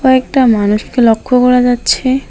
কয়েকটা মানুষকে লক্ষ্য করা যাচ্ছে।